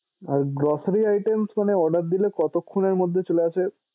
আর grocery মানে order দিলে কতক্ষনের মধ্যে চলে আসে?